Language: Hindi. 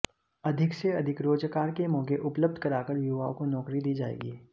अधिक से अधिक रोजगार के मौके उपलब्ध कराकर युवाओं को नौकरी दी जायेगी